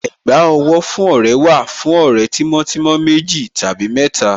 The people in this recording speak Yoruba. Ẹ̀gbá owó fún ọ̀rẹ́ wà fún ọ̀rẹ́ tímọ́ tímọ́ méjì tàbí mẹ́ta.